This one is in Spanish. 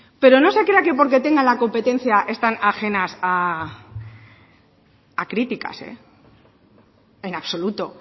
pero no se crea que porque tengan la competencia están ajenas a críticas en absoluto